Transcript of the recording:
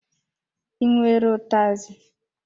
I nwere ụtazi?